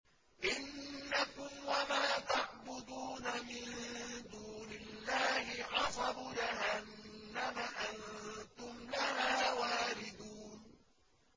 إِنَّكُمْ وَمَا تَعْبُدُونَ مِن دُونِ اللَّهِ حَصَبُ جَهَنَّمَ أَنتُمْ لَهَا وَارِدُونَ